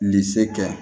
Bilisi kɛ